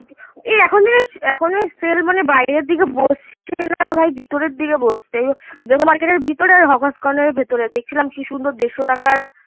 এই এখন জানিস এখন জানিস sell মানে বাইরে দিকে বসছে না ভাই ভিতরে দিকে বসছে দেখছিলাম কি সুন্দর দেড়শো টাকার